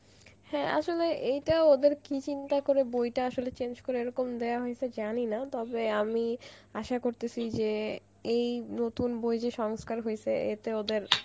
হ্যাঁ আসলে এইটা ওদের কি change করে বইটা আসলে এরকম দেয়া হয়েছে জানি না তবে আমি আশা করতেছি যে এই নতুন বই যে সংস্কার হয়েছে এতে ওদের